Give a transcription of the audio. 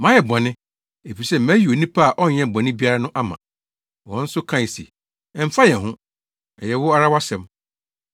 “Mayɛ bɔne, efisɛ mayi onipa a ɔnyɛɛ bɔne biara no ama.” Wɔn nso kae se, “Ɛmfa yɛn ho. Ɛyɛ wo ara wʼasɛm.”